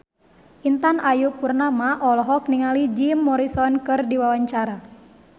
Intan Ayu Purnama olohok ningali Jim Morrison keur diwawancara